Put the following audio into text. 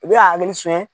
U bɛ ka